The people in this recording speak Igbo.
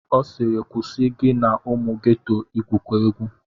Ọ sịịrị kwụsị gị na ụmụ geto igwukọ egwu!